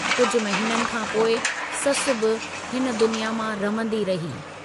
कुझ महिननि खांपोइ ससु बि हिन दुनिया मां रमंदी रही।